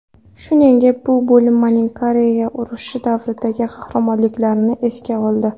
Shuningdek, bu bo‘linmaning Koreya urushi davridagi qahramonliklarini esga oldi.